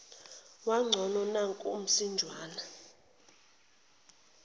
kwangcono nanko umsinjwana